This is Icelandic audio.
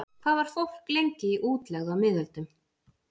Hvað var fólk lengi í útlegð á miðöldum?